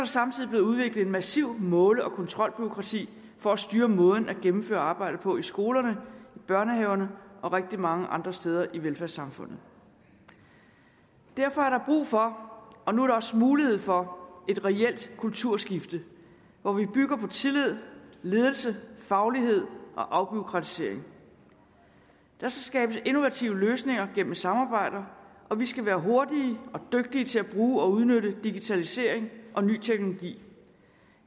samtidig blevet udviklet et massivt måle og kontrolbureaukrati for at styre måden at gennemføre arbejdet på skolerne i børnehaverne og rigtig mange andre steder i velfærdssamfundet derfor er der brug for og nu er der også mulighed for et reelt kulturskifte hvor vi bygger på tillid ledelse faglighed og afbureaukratisering der skal skabes innovative løsninger gennem samarbejde og vi skal være hurtige og dygtige til at bruge og udnytte digitalisering og ny teknologi